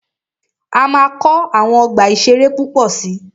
A máa kọ́ àwọn ọgbà ìṣẹ̀rẹ́ púpọ̀ si.